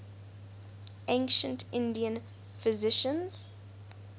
ancient indian physicians